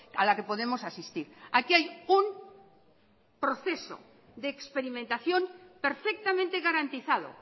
a la que podemos asistir aquí hay un proceso de experimentación perfectamente garantizado